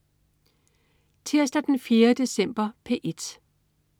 Tirsdag den 4. december - P1: